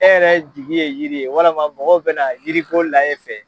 E yɛrɛ jigi ye yiri ye , walima mɔgɔw bɛna yiriko laj'e fɛ.